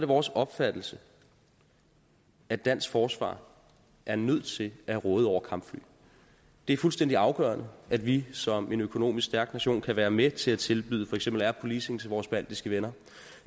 vores opfattelse at dansk forsvar er nødt til at råde over kampfly det er fuldstændig afgørende at vi som en økonomisk stærk nation kan være med til at tilbyde for eksempel air policing til vores baltiske venner